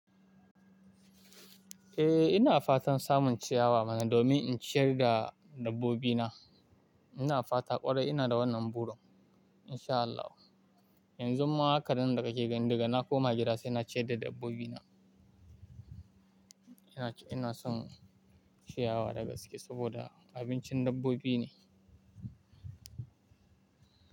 Eh ina fatan samun ciyawa mana domin in ciyar da dabbobina. Ina fata ƙwarai ina da wannan burin insha Allahu. Yanzun ma haka nan da kake gani daga na koma gida sai na ciyar da dabbobina. Ina, ina son ciyawa da gaske saboda abincin dabbobi ne.